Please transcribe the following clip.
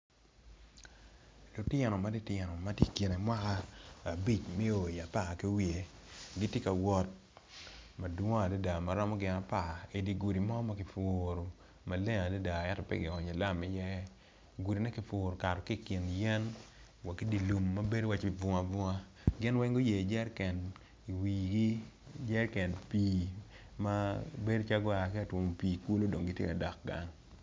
Lutino matitino matye i kine mwaka abic me o i apar kiwiye gitye ka wot madwong adada maromo gin apar idigudi mo makipuro maleng adada ento peki onyo lam i ye gudi ne kupuro kato ki kin yen wa ki dilum mabedo waci bunga bunga gin weng guyeo jeriken i wigi jeriken pi mabedo calo gua ki atwomo pi ikulu dong gitye ka dok gang.